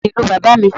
Ìréé ni ìlú bàbá mi